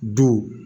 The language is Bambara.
Duw